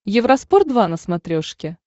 евроспорт два на смотрешке